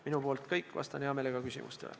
Minu poolt kõik, vastan hea meelega küsimustele.